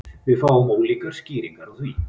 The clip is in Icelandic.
Við fáum ólíkar skýringar á því